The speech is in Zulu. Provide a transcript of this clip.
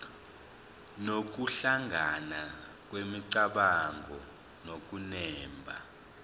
nokuhlangana kwemicabango nokunemba